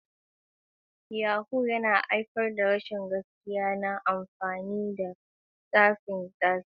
Yahoo + yana haifar da rashin gaskiya na amfani da tsafai tsafai.